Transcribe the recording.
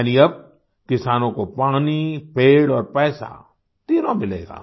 यानि अब किसानों को पानी पेड़ और पैसा तीनों मिलेगा